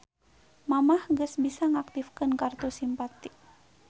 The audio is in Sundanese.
Mamah geus bisa ngaktifkeun kartu Simpati